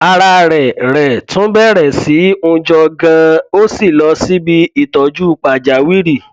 ara rẹ rẹ tún bẹrẹ sí í hunjọ ganan ó sì lọ síbi ìtọjú pàjáwìrì